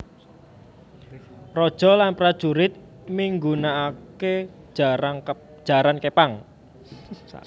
Raja lan prajurit migunaaké jaran képang